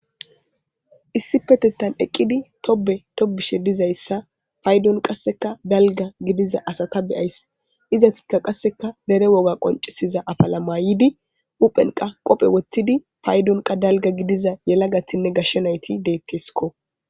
issi petettan eqqidi tobe tobishe dizayssa paydon qasseka dalga gidiza asata beyays izatikka qasseka bere woga qoncisiza apalamaaydi uphenqa qophe woththidi paydon qa dalga gidiza yela gatinne gashshe nayti deetteskko